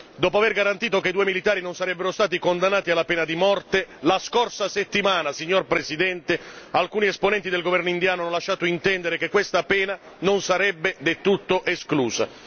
Dopo aver garantito che i due militari non sarebbero stati condannati alla pena di morte, la scorsa settimana, signor Presidente, alcuni esponenti del governo indiano hanno lasciato intendere che questa pena non sarebbe del tutto esclusa.